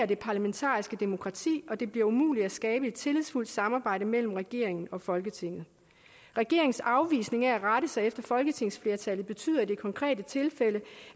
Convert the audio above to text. det parlamentariske demokrati og det bliver umuligt at skabe et tillidsfuldt samarbejde mellem regeringen og folketinget regeringens afvisning af at rette sig efter folketingsflertallet betyder i det konkrete tilfælde